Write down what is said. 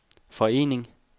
forening